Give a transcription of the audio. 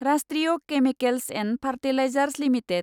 राष्ट्रीय chemicals and fertilizers limited